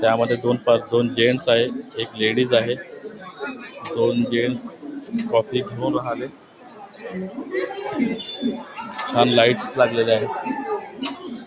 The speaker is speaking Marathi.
त्यामध्ये दोन जेंट्स आहे एक लेडिज आहे दोन जेंट्स कॉफी घेऊन राहिले छान लाइट लागलेल्या आहेत.